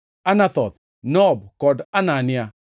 Anathoth, Nob kod Anania,